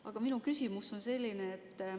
Aga minu küsimus on selline.